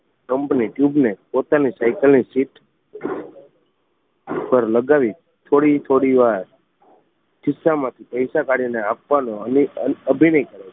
pump ને tube ને પોતાની સાઇકલ ની સીટ પર લગાવી થોડી થોડી વાર ખિસ્સા માં થી પૈસા કાઢવાનો અની અભિનય કરે છે